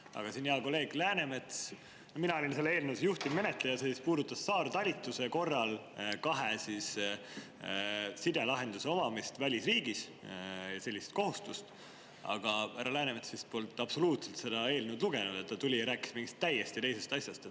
Aga siin hea kolleeg Läänemets, mina olin selle eelnõu juhtivmenetleja, see puudutas saartalitluse korral kahe sidelahenduse omamist välisriigis, sellist kohustust, aga härra Läänemets vist polnud absoluutselt seda eelnõu lugenud, ta tuli ja rääkis mingist täiesti teisest asjast.